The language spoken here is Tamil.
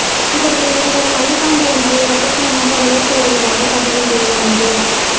இவர்கள் இருவரும் மலைப்பாம்பு ஒன்றை ரகசியமாக வளர்த்து வருவதாக தகவல் வெளியானது